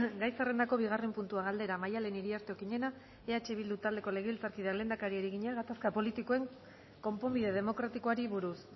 gai zerrendako bigarren puntua galdera maddalen iriarte okiñena eh bildu taldeko legebiltzarkideak lehendakariari egina gatazka politikoen konponbide demokratikoari buruz